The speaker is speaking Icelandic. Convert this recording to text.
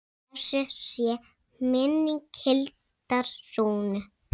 Blessuð sé minning Hildar Rúnu.